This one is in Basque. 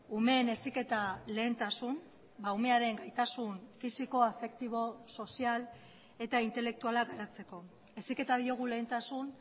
umeen heziketa lehentasun umearen gaitasun fisiko afektibo sozial eta intelektuala garatzeko heziketa diogu lehentasun